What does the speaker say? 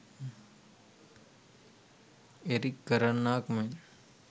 Eric කරන්නාක් මෙන්